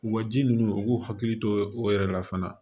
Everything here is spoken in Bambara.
Wa ji ninnu u k'u hakili to o yɛrɛ la fana